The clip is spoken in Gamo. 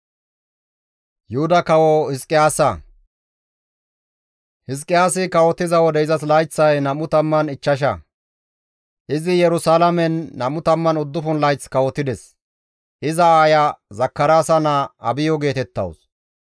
Hizqiyaasi kawotiza wode izas layththay 25; izi Yerusalaamen 29 layth kawotides; iza aaya Zakaraasa naa Abiyo geetettawus.